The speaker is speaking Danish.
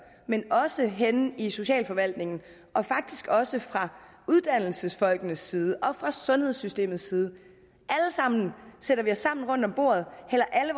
men også henne i socialforvaltningen og faktisk også fra uddannelsesfolkenes side og fra sundhedssystemets side sætter os sammen rundt om bordet hælder alle